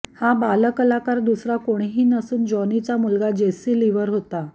हा बालकलाकार दुसरा कोणीही नसून जॉनीचा मुलगा जेस्सी लिव्हर होता